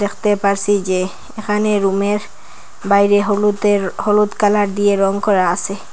পারসি যে এখানে রুমের বাইরে হলুদের হলুদ কালার দিয়ে রং করা আসে।